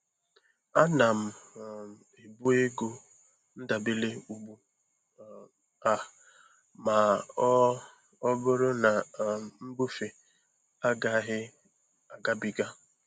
Ana m um ebu ego ndabere ugbu um a ma ọ ọ bụrụ na um mbufe agaghị agabiga.